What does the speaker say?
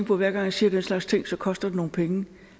så hver gang jeg siger den slags ting skal koster nogle penge